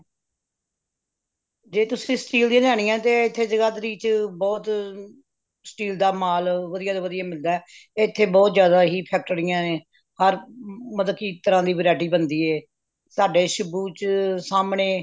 ਜੇ ਤੁਸੀ steel ਦੀਆ ਲੈਣੀਆਂ ਨੇ ਤੇ ਏਥੇ ਜਗਾਧਰੀ ਵਿਚ ਬਹੁਤ steel ਦਾ ਮਾਲ ਵਧੀਆ ਤੋਂ ਵਧੀਆ ਮਿਲਦਾ ਏ ਇਥੇ ਬਹੁਤ ਜ਼ਿਆਦਾ ਹੀ factory ਯਾ ਨੇ ਹਰ ਮਲਤਬ ਕਿ variety ਬਣਦੀ ਏ ਸਾਡੇ ਸ਼ਿੱਬੂ ਚ ਸਾਹਮਣੇ